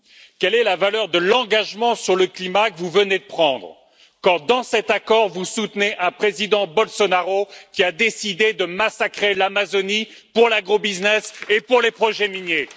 Quelle est la valeur de l'engagement sur le climat que vous venez de prendre quand, dans cet accord, vous soutenez un président Bolsonaro qui a décidé de massacrer l'Amazonie pour l'agrobusiness et pour les projets miniers?